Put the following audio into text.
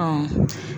Ɔ